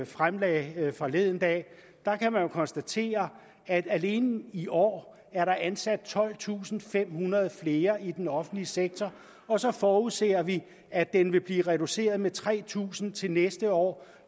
fremlagde forleden dag kan man jo konstatere at der alene i år er ansat tolvtusinde og femhundrede flere i den offentlige sektor og så forudser vi at den vil blive reduceret med tre tusind til næste år